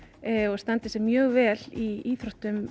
og standi sig mjög vel í íþróttum